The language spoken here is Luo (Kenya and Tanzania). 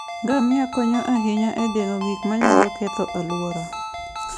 Ngamia konyo ahinya e geng'o gik manyalo ketho alwora.